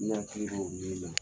N' i hakili b'o min na